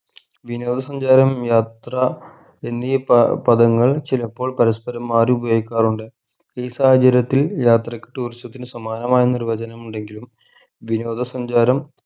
വിനോദ സഞ്ചാരം യാത്ര എന്നീ പ പദങ്ങൾ ചിലപ്പോൾ പരസ്പരം മാറി ഉപയോഗിക്കാറുണ്ട് ഈ സാഹചര്യത്തിൽ യാത്രയ്ക്ക് tourism ത്തിന് സമാനമായ നിർവചനമുണ്ടെങ്കിലും വിനോദ സഞ്ചാരം